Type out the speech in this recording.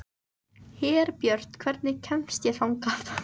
Herbjört, hvernig kemst ég þangað?